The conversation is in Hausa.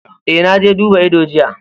Eh, na je duba ido jiya.